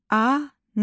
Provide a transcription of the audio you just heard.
Anar.